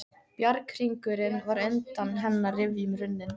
Bjarghringurinn var undan hennar rifjum runninn.